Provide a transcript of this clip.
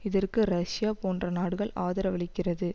இதற்கு ரஷ்யா போன்ற நாடுகள் ஆதரவளிக்கிறது